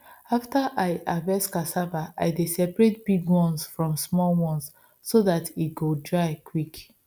after i harvest cassava i dey separate big ones from small ones so dat e go dry quick